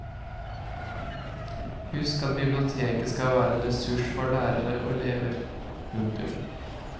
Husk at biblioteket skal være en ressurs for lærere og elever. punktum